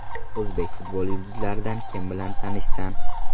O‘zbek futboli yulduzlaridan kim bilan tanishsan?